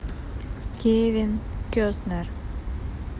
кевин костнер